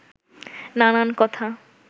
নানান কথা